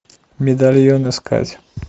медальон искать